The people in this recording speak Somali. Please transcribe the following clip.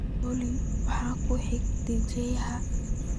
Olly, maxaa ku xiga dajiyaha?